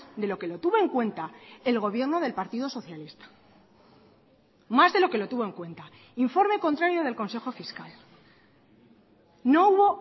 de lo que lo tuvo en cuenta el gobierno del partido socialista más de lo que lo tuvo en cuenta informe contrario del consejo fiscal no hubo